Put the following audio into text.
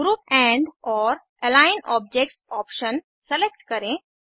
group andओर align objects option select करें